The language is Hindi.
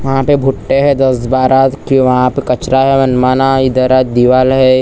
वहाँ पे भुट्टे हैं दस बारह वहाँ पे कचरा हैं इधर दीवाल हैं।